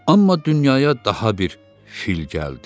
Amma dünyaya daha bir fil gəldi.